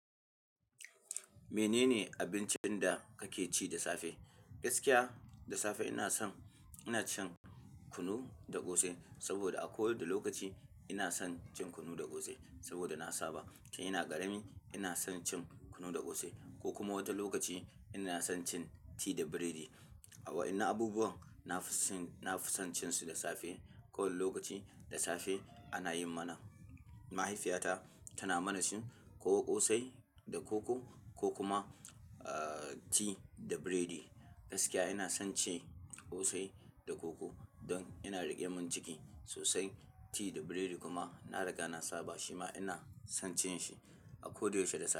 Menene abincin da kake ci da safe? Gaskiya da safe ina san-- ina cin kunu da ƙosai saboda a kowadda lokaci ina san cin kunu da ƙosai saboda na saba. Tin ina ƙarami ina san cin kunu da ƙosai ko kuma wata lokaci ina san cin tea da biredi a-- a wa'inna abubuwan na fi sin, na fi san cin su da safe. Ko wal lokaci da safe ana yi mana, mahaifiyata tana mana shin ko ƙosai da koko ko kuma, ah, tea da biredi. Gaskiya ina son ci ƙosai da koko don ina da irman ciki sosai. Ti da biredi kuma na riga na saba shi ma ina son cin shi a koyaushe da safe.